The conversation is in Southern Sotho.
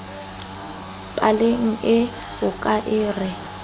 paleng ee o ka re